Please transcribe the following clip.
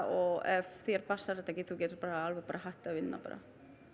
og ef þér passar þetta ekki þú getur bara alveg bara hætt að vinna bara